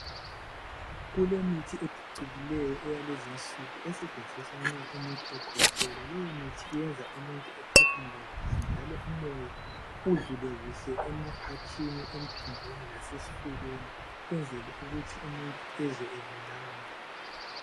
Kulemithi ephucukileyo eyalezinsuku esetshenziswa nxa umuntu ekhwehlela. Leyomithi iyenza umuntu ephefumule kuhle njalo umoya udlule kuhle emaphatshini, emphinjweni lasesifubeni ukwenzela ukuthi umuntu ezwe elulama.